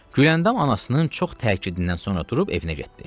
Güləndam anasının çox təkidindən sonra durub evinə getdi.